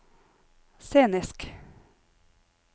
scenisk